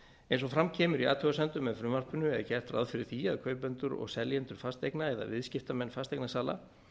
eins og fram kemur í athugasemdum með frumvarpinu er gert ráð fyrir því að kaupendur og seljendur fasteigna eða viðskiptamenn fasteignasala